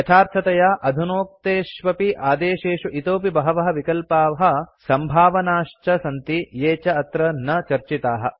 यथार्थतया अधुनोक्तेष्वपि आदेशेषु इतोऽपि बहवः विकल्पाः सम्भावनाश्च सन्ति ये च अत्र न चर्चिताः